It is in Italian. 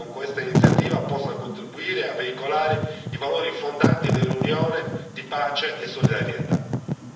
Il mio auspicio è che questa iniziativa possa contribuire a veicolare i valori fondanti dell'Unione di pace e solidarietà.